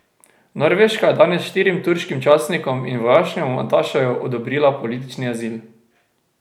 Norveška je danes štirim turškim častnikom in vojaškemu atašeju odobrila politični azil.